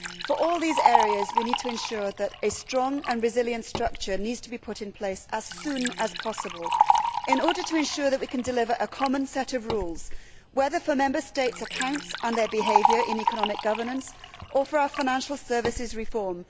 For all these areas, we need to ensure that a strong and resilient structure is put in place as soon as possible in order to ensure that we can deliver a common set of rules, whether for Member States accounts and their behaviour in economic governance, or for our financial services reform.